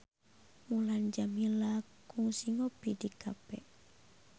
Mulan Jameela kungsi ngopi di cafe